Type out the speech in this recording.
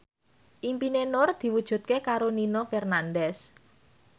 impine Nur diwujudke karo Nino Fernandez